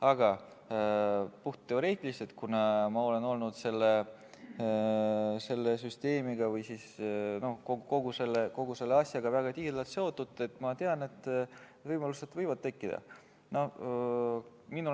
Aga puhtteoreetiliselt, kuna ma olen olnud selle süsteemiga või kogu selle asjaga väga tihedalt seotud, siis ma tean, et võimalused võivad tekkida.